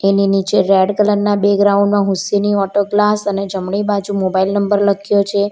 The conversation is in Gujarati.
એની નીચે રેડ કલરમાં બેગ્રાઉન્ડ માં હુસેની ઓટો ક્લાસ અને જમણી બાજુ મોબાઈલ નંબર લખ્યો છે.